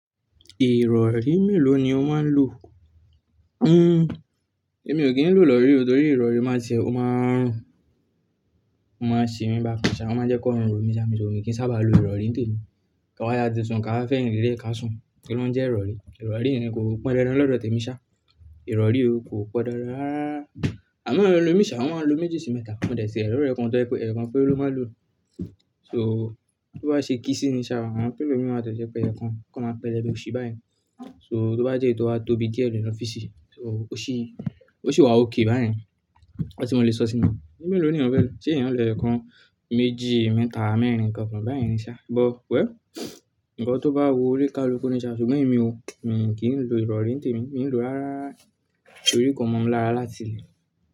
Ìrọ̀rí mélòó ni o máa ń lò? Hmm, èmi ò kí ń lò ìrọ̀rí o torí ìrọ̀rí máa jẹ, ó máa ń, ó máa ń ṣe mí bákan ṣá, ó máa ń jẹ́ kó hun ro mí ṣá, mi ò kí ń sábà lo ìrọ̀rí ní òní. Ká wá yá tisun ká fẹ́yin lélẹ̀ ká sùn. Kí ló ń jẹ ìrọ̀rí? Ìrọ̀rí yẹn ni kò pọn dandan lọ́dọ̀ tèmi ṣá. Ìrọ̀rí o kò pọn dandan rárá. Àmọ àwọn ẹlòmí ṣá, wọ́n máa ń lo méjì sí mẹ́ta. Mò dé tiẹ ri orẹ̀ kan tọ́ jẹ pé ẹ̀yokan pere ló máa lò. So, tó bá ṣe kí sí i ni ṣá, àwọn pillow mi máa tọ́ jẹ́ pẹ́ ẹ̀yọkan, kan ma pẹlẹ́bẹ óṣi báyìí. So tó bá jẹ́ eyi tó wá tóbi díẹ̀ lọ́ fisì, so ó ṣì, ó ṣì wá ókè bá yẹn. Nnkan ti mo lè sọ sí i ni, mélòó ni èèyàn fẹ́ lò? Ṣé èèyàn lo ẹ̀yọkan, méjì, mẹ́ta, mẹ́rin kan kan bá yẹn ní ṣá? But well, ǹkan tó bá wù ó ní káluku ni ṣá, ṣùgbọ́n èmi o, mi kì í lò ìrọ̀rí ní tèmi, mi ń lò rárá. Tòrí ko mọ̀ mi lára láti ilẹ̀?